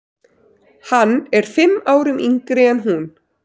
Hann er fimm árum yngri en hún.